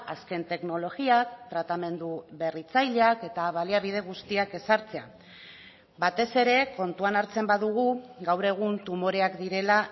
azken teknologiak tratamendu berritzaileak eta baliabide guztiak ezartzea batez ere kontuan hartzen badugu gaur egun tumoreak direla